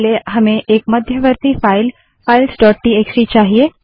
पहले हमें एक मध्यवर्ती फाइल फाइल्स डोट टीएक्सटी चाहिए